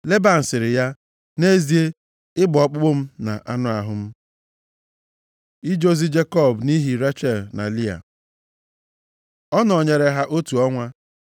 Leban sịrị ya, “Nʼezie, ị bụ ọkpụkpụ m na anụ ahụ m.” Ije ozi Jekọb nʼihi Rechel na Lịa Ọ nọnyeere ya otu ọnwa.